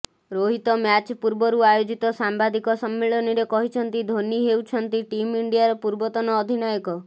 Rohit match ପୂର୍ବରୁ ଆୟୋଜିତ ସାମ୍ବାଦିକ ସମ୍ମିଳନୀରେ କହିଛନ୍ତି ଧୋନି ହେଛନ୍ତି ଟିମ୍ ଇଣ୍ଡିଆର ପୂର୍ବତନ ଅଧିନାୟକ